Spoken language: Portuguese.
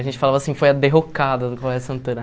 A gente falava assim, foi a derrocada do Colégio Santana.